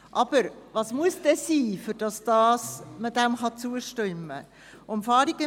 Aber was muss eintreffen, damit man dem zustimmen kann?